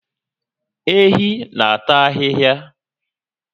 Ehi n'ata ahịhịa